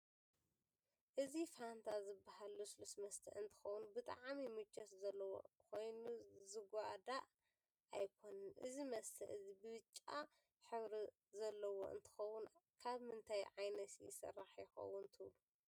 አዚ ፋንታ ዝባሃል ልስሉስ መስተ አንትከውን ብጣዓሚ ምቸት ዘለዎ ኮይኑ ዝጓዳ አይኮነን እዚ መስተ እዚ ብጫ ሕብሪ ዘለዎ እንትከውን ካብ ምንታይ ዓይነት ይሰራሕ ይከውን ትብሉ?